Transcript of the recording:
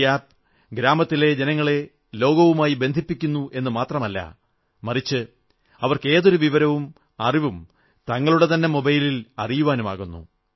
ഈ ആപ് ഗ്രാമത്തിലെ ജനങ്ങളെ ലോകവുമായി ബന്ധിപ്പിക്കുന്നുവെന്നു മാത്രമല്ല മറിച്ച് അവർക്ക് ഏതൊരു വിവരവും അറിവും തങ്ങളുടെ തന്നെ മൊബൈലിൽ അറിയുവാനുമാകുന്നു